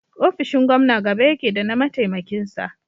ofishin Gomna gaba yake da na mataimakin sa